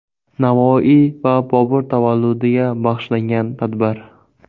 Navoiy va Bobur tavalludiga bag‘ishlangan tadbir.